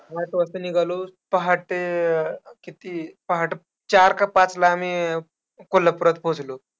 आठ वाजता निघालो, पहाटे अं किती अं पहाटे चार का पाचला आम्ही कोल्हापुरात पोहोचलो.